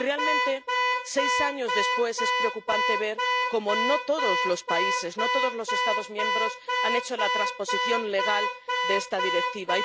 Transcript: Y realmente, seis años después, es preocupante ver cómo no todos los países, no todos los Estados miembros han hecho la transposición legal de esta Directiva.